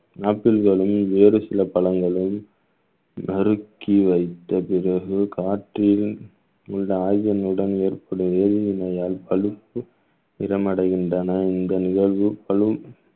ஆப்பிள்களும் வேறு சில பழங்களும் நறுக்கி வைத்த பிறகு காற்றில் உள்ள ஆயுதங்களுடன் ஏற்படும் எரிவு நோயால் பழுப்பு நிறமடைகின்றன இந்த நிகழ்வு பழும்